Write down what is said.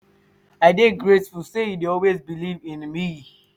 i dey grateful sey you dey always beliv in me.